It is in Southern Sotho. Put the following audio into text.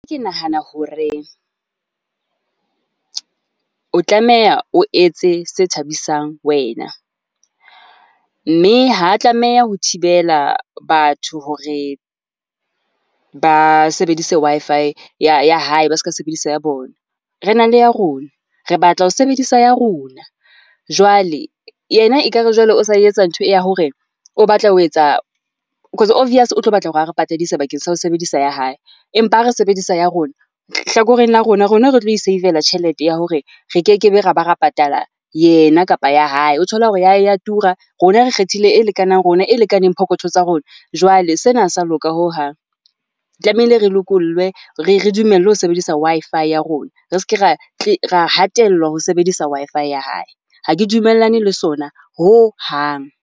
Ke nahana hore o tlameha o etse se thabisang wena, mme ha a tlameha ho thibela batho hore ba sebedise Wi-Fi ya ya hae, ba ska sebedisa ya bona. Re na le ya rona, re batla ho sebedisa ya rona. Jwale yena ekare jwale o sa e etsa ntho ya hore o batla ho etsa cause obvious o tlo batla hore a re patadise bakeng sa ho sebedisa ya hae. Empa re sebedisa ya rona hlakoreng la rona, rona re tlo e save-la tjhelete ya hore re kekebe ra ba re patala yena kapa ya hae. O thola hore ya hae e ya tura, rona re kgethile e lekanang rona e lekanang pokotho tsa rona. Jwale sena ha se ya loka hohang, tlamehile re lokollwe re re dumelle ho sebedisa Wi-Fi ya rona, re ske ra ra hatellwa ho sebedisa Wi-Fi ya hae. Ha ke dumellane le sona hohang.